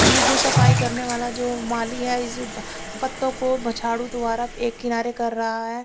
ये जो सफाई करने वाला ये जो माली है इस पत्तो को झाड़ू द्वारा एक किनारे कर रहा है।